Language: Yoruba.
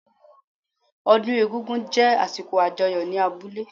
Ọdún egún-gún jé àsìkò àjọyọ̀ ní abúlé